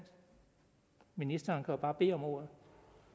ministeren kan jo bare bede om ordet